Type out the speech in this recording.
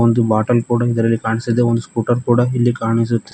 ಒಂದು ಬೊಟಲ್ ಕೂಡ ಇದರಲ್ಲಿ ಕಾಣಿಸಿದೆ ಮತ್ತು ಒಂದು ಸ್ಕೂಟರ್ ಕೂಡ ಇಲ್ಲಿ ಕಾಣಿಸುತ್--